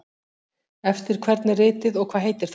Eftir hvern er ritið og hvað heitir það?